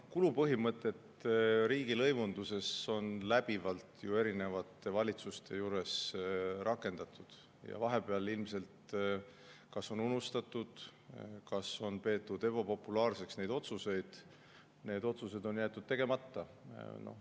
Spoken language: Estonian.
Kulupõhimõtet riigilõivunduses on läbivalt erinevate valitsuste ajal rakendatud ja vahepeal ilmselt on see kas unustatud või on neid otsuseid peetud ebapopulaarseks, aga need on jäetud tegemata.